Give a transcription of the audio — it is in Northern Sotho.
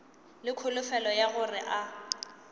le kholofelo ya gore a